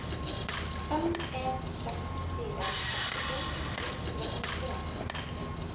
fem en seks fire sekstito ni hundre og nittien